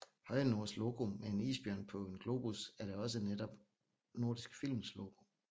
Høje Nords logo med en isbjørn på en globus er da også netop Nordisk Films logo